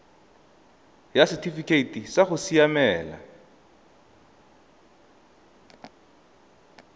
ya setifikeite sa go siamela